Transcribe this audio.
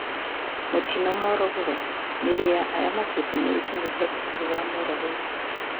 Mutino Morogoro:Mĩĩrĩ ya arĩa makuĩte nĩ ĩkinyĩte thukuru ya Morogoro